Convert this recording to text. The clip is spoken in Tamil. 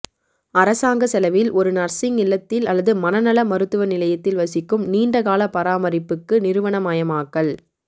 அரசாங்க செலவில் ஒரு நர்சிங் இல்லத்தில் அல்லது மன நல மருத்துவ நிலையத்தில் வசிக்கும் நீண்ட கால பராமரிப்புக்கு நிறுவனமயமாக்கல்